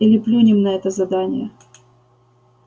или плюнем на это задание